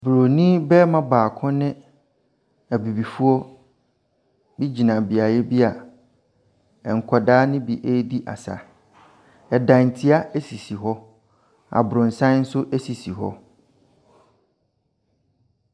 Buroni barima baako ne Abibifoɔ bi gyina beaeɛ bi a nkwadaa no bi redi asa. Ɛdantea sisi hɔ. Abrɔsan nso si hɔ.